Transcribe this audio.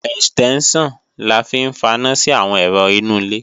Ẹ̀stẹ́ńṣàn la fi ń faná sí àwọn ẹ̀rọ inú ilé